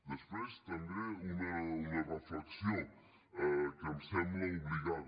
després també una reflexió que em sembla obligada